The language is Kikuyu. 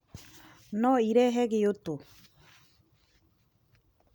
No ĩrehe ngĩũtũ.